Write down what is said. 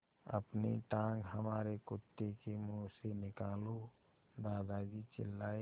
अपनी टाँग हमारे कुत्ते के मुँह से निकालो दादाजी चिल्लाए